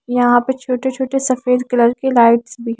यहाँ पे छोटे छोटे सफेद कलर के लाइट्स भी --